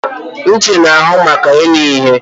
Ntị na-ahụ maka ịnụ ihe